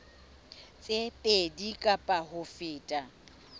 tse pedi kapa ho feta